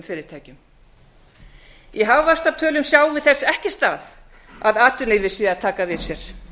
fyrirtækjum í hagvaxtartölum sjáum við þess ekki stað að atvinnulífið sé að taka við sér það